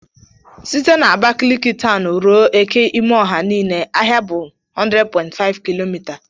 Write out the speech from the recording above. Site na Abakalik towni ruo eke imoha inine ahịa bụ 100.5 km.